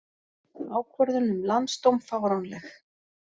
Ákvörðun um landsdóm fáránleg